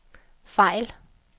fejl